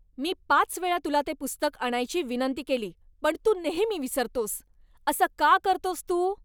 मी पाच वेळा तुला ते पुस्तक आणायची विनंती केली पण तू नेहमी विसरतोस, असं का करतोस तू?